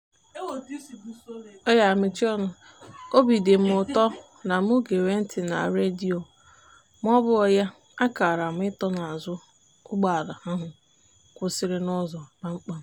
obi dị mụ ụtọ na mụ gere ntị na redio maọbụghị ya a kara m ị tọ n'azụ ụgbọala ahụ kwụsịrị n'ụzọ kpamkpam.